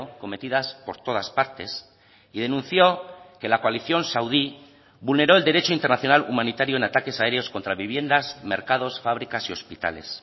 cometidas por todas partes y denunció que la coalición saudí vulneró el derecho internacional humanitario en ataques aéreos contra viviendas mercados fábricas y hospitales